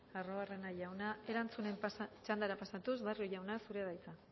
arruabarrena jauna erantzunen txandara pasatuz barrio jauna zurea da hitza